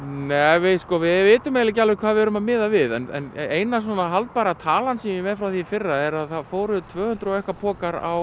við vitum ekki alveg hvað við erum að miða við en eina haldbæra talan sem ég er með frá því í fyrra er að það fóru tvö hundruð og eitthvað pokar á